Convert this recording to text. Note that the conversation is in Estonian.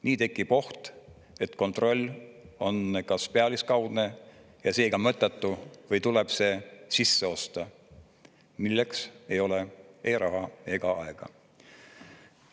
Nii tekib oht, et kontroll on kas pealiskaudne ja seega mõttetu või tuleb see sisse osta, milleks ei ole ei raha ega aega.